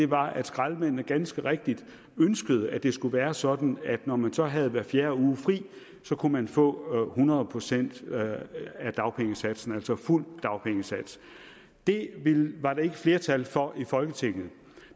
var at skraldemændene ganske rigtigt ønskede at det skulle være sådan at når man så havde hver fjerde uge fri kunne man få hundrede procent af dagpengesatsen altså fuld dagpengesats det var der ikke flertal for i folketinget